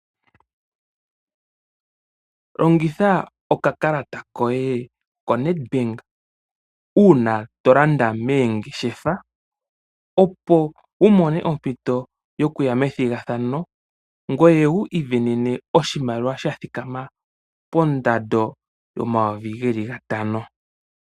Longitha okakalata koye koNet bank uuna tolanda meengeshefa opo wu mone ompito yokuya methigathano, ngoye wi isindanene oshimaliwa shathika ma pondando yomayovi geli gantano.